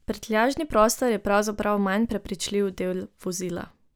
Prtljažni prostor je pravzaprav manj prepričljiv del vozila.